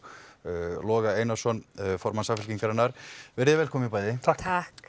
Loga Einarsson formann Samfylkingarinnar veriði velkomin bæði takk